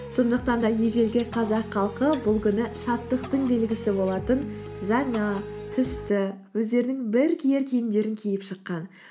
сондықтан да ежелгі қазақ халқы бұл күні шаттықтың белгісі болатын жаңа түсті өздерінің бір киер киімдерін киіп шыққан